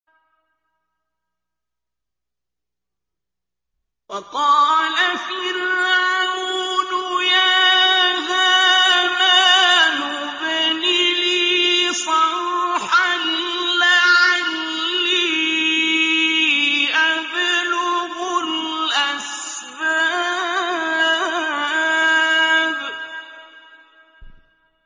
وَقَالَ فِرْعَوْنُ يَا هَامَانُ ابْنِ لِي صَرْحًا لَّعَلِّي أَبْلُغُ الْأَسْبَابَ